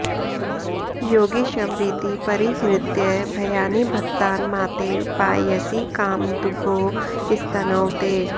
योगीश्वरीति परिहृत्य भयानि भक्तान् मातेव पाययसि कामदुघौ स्तनौ ते